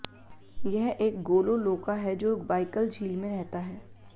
यह एक गोलोलोका है जो बाइकल झील में रहता है